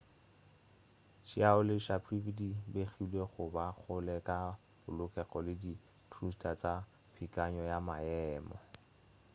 chiao le sharipov di begilwe go ba kgole ka polokego le di-thruster tša peakanyo ya maemo